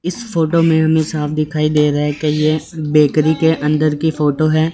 इस फोटो में हमे साफ दिखाई दे रहा है कि ये बेकरी के अंदर की फोटो है।